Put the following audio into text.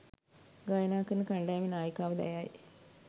ගායනා කරන කණ්ඩායමේ නායිකාවද ඇයයි.